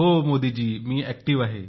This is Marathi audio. हो मोदी जी मी सक्रीय आहे